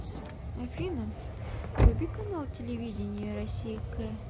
афина вруби канал телевидения россия к